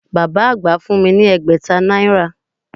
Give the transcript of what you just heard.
Bàbá àgbà fún mi ni ẹgbẹ̀ta náírà